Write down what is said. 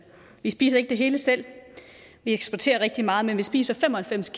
vi spiser ikke det hele selv vi eksporterer rigtig meget men vi spiser fem og halvfems